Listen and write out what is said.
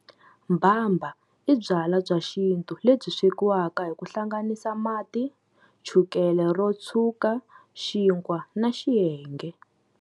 Mbhambha i byalwa bya xintu lebyi swekiwaka hi ku hlanganisiwa mati, chukele ro tshwuka, xinkwa na xihenge.